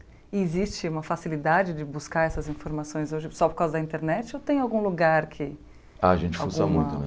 E existe uma facilidade de buscar essas informações hoje só por causa da internet ou tem algum lugar que... Ah, Alguma A gente fuça muito, né?